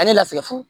A ye lasigi